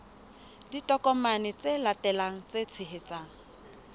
ditokomane tse latelang tse tshehetsang